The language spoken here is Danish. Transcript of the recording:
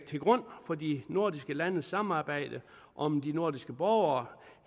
til grund for de nordiske landes samarbejde om de nordiske borgere